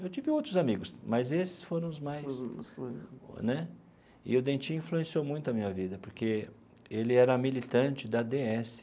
Eu tive outros amigos, mas esses foram os mais né... E o Dentinho influenciou muito a minha vida, porque ele era militante da dê esse.